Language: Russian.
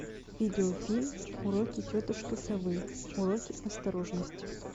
видеофильм уроки тетушки совы уроки осторожности